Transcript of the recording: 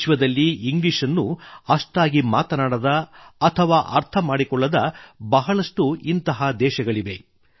ವಿಶ್ವದಲ್ಲಿ ಇಂಗ್ಲೀಷ್ ನ್ನು ಅಷ್ಟಾಗಿ ಮಾತನಾಡದ ಅಥವಾ ಅರ್ಥಮಾಡಿಕೊಳ್ಳದ ಬಹಳಷ್ಟು ಇಂಥ ದೇಶಗಳಿವೆ